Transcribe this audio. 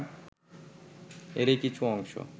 এরই কিছু অংশ